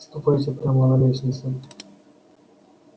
ступайте прямо на лестницу